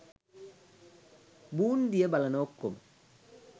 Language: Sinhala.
බූන්දිය බලන ඔක්කොම